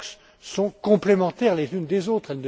à M. Fox, sont complémentaires les unes des autres.